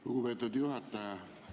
Lugupeetud juhataja!